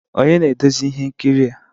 Onye na-eduzi ihe nkiri a